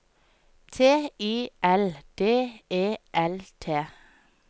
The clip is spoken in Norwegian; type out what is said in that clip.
T I L D E L T